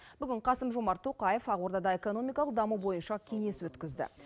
бүгін қасым жомарт тоқаев ақордада экономикалық даму бойынша кеңес өткізді